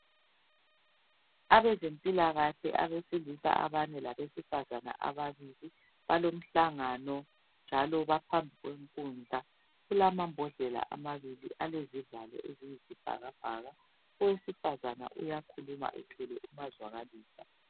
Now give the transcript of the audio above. Abempilakahle abesilisa abane labesifazana ababili. Balomhlangano njalo baphambi kwenkundla, kulama bhodlela amabili alezivalo eziyisibhakabhaka. Owesifazana uyakhuluma ethwele umazwakalisa.